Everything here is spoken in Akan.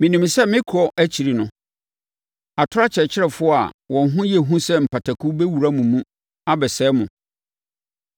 Menim sɛ me kɔ akyi no, atorɔ akyerɛkyerɛfoɔ a wɔn ho yɛ hu sɛ mpataku bɛwura mo mu abɛsɛe mo.